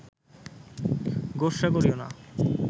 গোস্বা করিও না